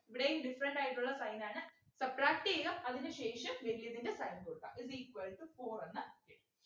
ഇവിടെയും different ആയിട്ടുള്ള sign ആണ് subtract ചെയ്യുക അതിനു ശേഷം വലിയതിൻ്റെ sign കൊടുക്കാ is equal to four എന്ന്